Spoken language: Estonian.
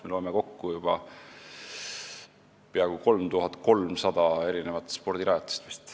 Me võime praeguseks juba peaaegu 3300 spordirajatist kokku lugeda.